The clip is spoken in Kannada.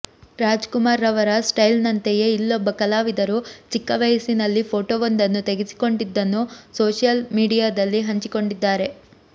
ರಾಜ್ ಕುಮಾರ್ ರವರ ಸ್ಟೈಲ್ ನಂತೆಯೇ ಇಲ್ಲೊಬ್ಬ ಕಲಾವಿದರು ಚಿಕ್ಕ ವಯಸ್ಸಿನಲ್ಲಿ ಫೋಟೋವೊಂದನ್ನು ತೆಗೆಸಿಕೊಂಡಿದ್ದನ್ನು ಸೋಷಿಯಲ್ ಮೀಡಿಯಾದಲ್ಲಿ ಹಂಚಿಕೊಂಡಿದ್ದಾರೆ